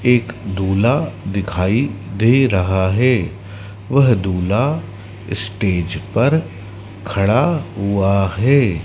एक दूल्हा दिखाई दे रहा है वह दूल्हा स्टेज पर खड़ा हुआ है।